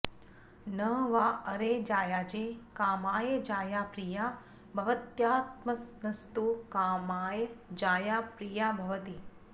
न वा अरे जायायै कामाय जाया प्रिया भवत्यात्मनस्तु कामाय जाया प्रिया भवति